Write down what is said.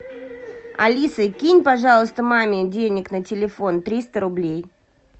алиса кинь пожалуйста маме денег на телефон триста рублей